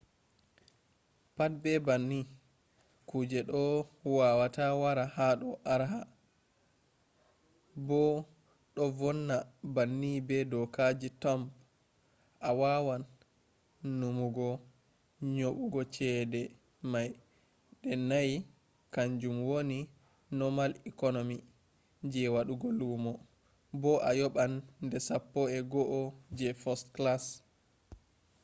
pat be banni kuje do wawata wara hado arha: bo do vonni banni be dokaji thumb awawan nuumugo nyobugo chede mai de naiiy kanjum woni normal economy je wadugo lumo bo a yoban de sappo’ego’o je first class!